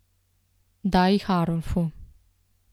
Da jih Arolfu.